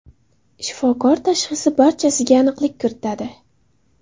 Shifokor tashxisi barchasiga aniqlik kiritadi.